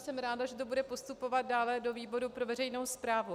Jsem ráda, že to bude postupovat dále do výboru pro veřejnou správu.